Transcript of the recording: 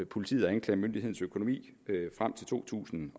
politiets og anklagemyndighedens økonomi for to tusind